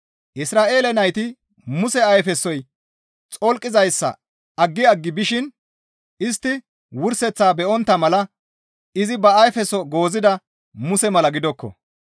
Isra7eele nayti Muse ayfesoy xolqizayssa aggi aggi bishin istti wurseththaa be7ontta mala izi ba ayfeso goozida Muse mala gidokko.